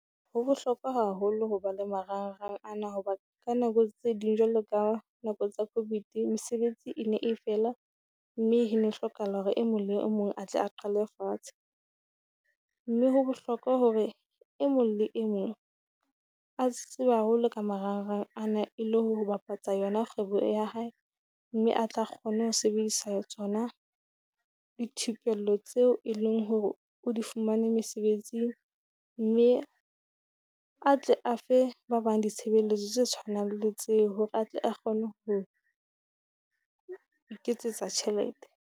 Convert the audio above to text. Ho bohlokwa haholo ho ba le marangrang ana hoba ka nako tse ding, jwalo ka nako tsa Covid mesebetsi e ne e fela, mme he ne hlokahala hore e mong e mong a tle a qalwe fatshe. mme ho bohlokwa hore e mong le e mong a tseba haholo ka marangrang ana e le ho bapatsa yona kgwebo ya e hae, mme a tla kgone ho sebedisa tsona dithupello tseo e leng hore o di fumane mesebetsi. Mme a tle a fe ba bang ditshebeletso tse tshwanang le tseo hore atle a kgone ho iketsetsa tjhelete.